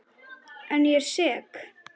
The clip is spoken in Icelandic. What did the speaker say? En ég er sek.